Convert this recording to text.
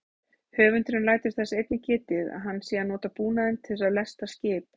Höfundurinn lætur þess einnig getið að hægt sé að nota búnaðinn til að lesta skip.